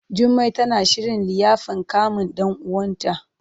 Jummai tana shirin liyafan kamun ɗan uwanta.